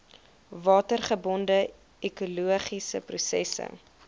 watergebonde ekologiese prosesse